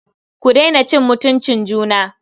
Ku daina cin mutuncin juna.